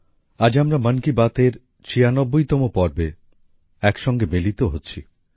আজ আমরা মন কি বাতের ছিয়ানব্বইতম পর্বে একসঙ্গে মিলিত হচ্ছি